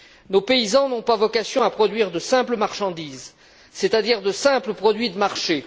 Nos paysans n'ont pas vocation à produire de simples marchandises, c'est à dire de simples produits de marché.